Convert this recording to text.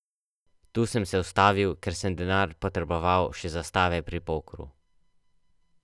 Tu sem se ustavil, ker sem denar potreboval še za stave pri pokru.